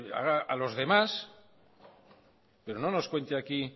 haga a los demás pero no nos cuente aquí